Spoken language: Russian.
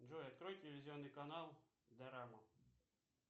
джой открой телевизионный канал дорама